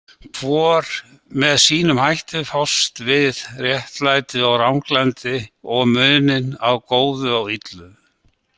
Hvor með sínum hætti fást við réttlæti og ranglæti og muninn á góðu og illu.